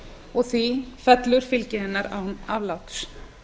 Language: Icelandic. og því fellur fylgi hennar án afláts